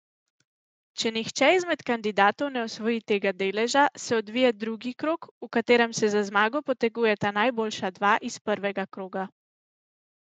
Če nihče izmed kandidatov ne osvoji tega deleža, se odvije drugi krog, v katerem se za zmago potegujeta najboljša dva iz prvega kroga.